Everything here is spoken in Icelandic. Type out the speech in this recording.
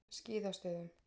Skíðastöðum